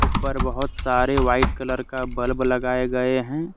ऊपर बहोत सारे व्हाइट कलर का बल्ब लगाए गए हैं।